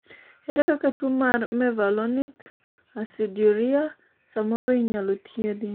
ere kaka tuo mar mevalonic aciduria samoro inyalo thiedhi?